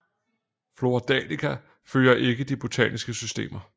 Flora Danica følger ikke de botaniske systemer